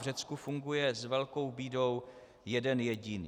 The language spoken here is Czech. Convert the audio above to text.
V Řecku funguje s velkou bídou jeden jediný.